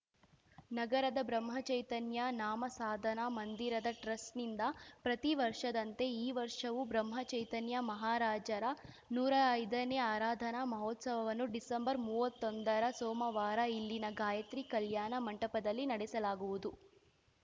ನಗರದ ಬ್ರಹ್ಮಚೈತನ್ಯ ನಾಮಸಾಧನ ಮಂದಿರದ ಟ್ರಸ್ಟ್‌ನಿಂದ ಪ್ರತಿವರ್ಷದಂತೆ ಈ ವರ್ಷವೂ ಬ್ರಹ್ಮಚೈತನ್ಯ ಮಹಾರಾಜರ ನೂರಾ ಐದನೇ ಆರಾಧನಾ ಮಹೋತ್ಸವವನ್ನು ಡಿಸೆಂಬರ್ಮೂವತ್ತೊಂದರ ಸೋಮವಾರ ಇಲ್ಲಿನ ಗಾಯಿತ್ರಿ ಕಲ್ಯಾಣ ಮಂಟಪದಲ್ಲಿ ನಡೆಸಲಾಗುವುದು